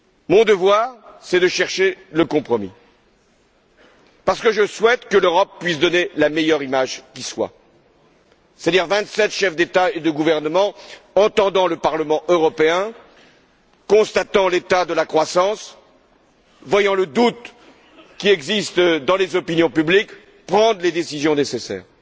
Mon devoir, c'est de chercher le compromis, parce que je souhaite que l'Europe puisse donner la meilleure image qui soit, c'est à dire celle de vingt sept chefs d'État et de gouvernement qui, entendant le Parlement européen, constatant l'état de la croissance, voyant le doute qui existe dans les opinions publiques, prennent les décisions nécessaires.